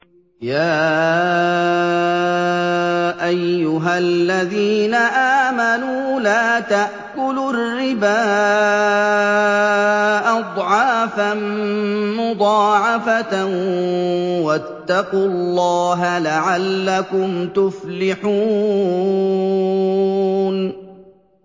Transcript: يَا أَيُّهَا الَّذِينَ آمَنُوا لَا تَأْكُلُوا الرِّبَا أَضْعَافًا مُّضَاعَفَةً ۖ وَاتَّقُوا اللَّهَ لَعَلَّكُمْ تُفْلِحُونَ